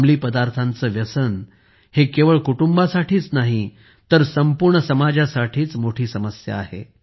अंमली पदार्थांचे व्यसन हे केवळ कुटुंबासाठीच नाही तर संपूर्ण समाजासाठीच मोठी समस्या आहे